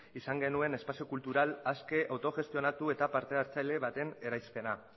izan genuen espazio kultural aske autogestionatu eta parte hartzaile baten eraispena